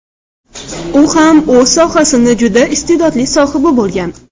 U ham o‘z sohasini juda iste’dodli sohibi bo‘lgan.